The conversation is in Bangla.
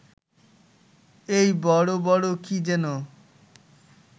এই বড় বড় কি যেন